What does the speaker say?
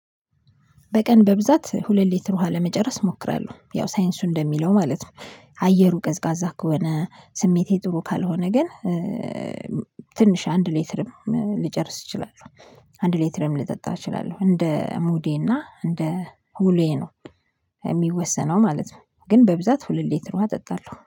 በቀን በብዛት ሁለት ሊትር ውሃ ለመጨረስ እሞክራለሁ ያው ሳይንሱ እንደሚለው ማለት ነው። አየሩ ቀዝቃዛ ከሆነ ስሜቴ ጥሩ ካልሆነ ግን ትንሽ አንድ ሌትርም ልጨርስ እችላለሁ። አንድ ሌትርም ልጠጣ እችላለሁ እንደ ሙዴና እንደ ዉሎዬ ነው። የሚወሰነው ማለት ነው። ግን በብዛት ሁለት ሌትር ዉሃ ጠጣለሁ